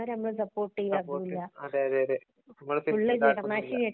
സപോർട്ടും അതേ അതേ